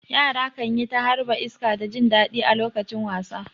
Yara kan yi ta harba iska da jin daɗi a lokacin wasa.